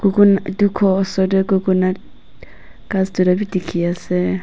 etu ghor oser te ghass tuita bi dikhi ase.